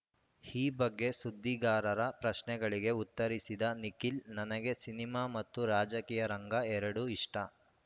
ಈ ಬಗ್ಗೆ ಸುದ್ದಿಗಾರರ ಪ್ರಶ್ನೆಗಳಿಗೆ ಉತ್ತರಿಸಿದ ನಿಖಿಲ್‌ ನನಗೆ ಸಿನಿಮಾ ಮತ್ತು ರಾಜಕೀಯ ರಂಗ ಎರಡು ಇಷ್ಟ